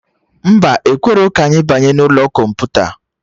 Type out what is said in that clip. Mba, ekwerọ ka anyị banye n'ụlọ kọmputa